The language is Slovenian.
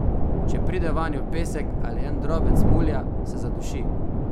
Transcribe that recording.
Če pride vanjo pesek ali en drobec mulja, se zaduši.